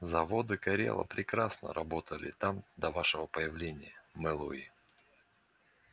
заводы корела прекрасно работали там до вашего появления мэллоуи